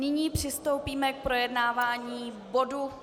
Nyní přistoupíme k projednávání bodu